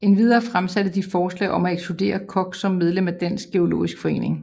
Endvidere fremsatte de forslag om at ekskludere Koch som medlem af Dansk Geologisk Forening